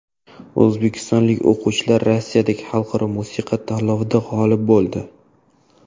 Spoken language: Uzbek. O‘zbekistonlik o‘quvchilar Rossiyadagi xalqaro musiqa tanlovida g‘olib bo‘ldi.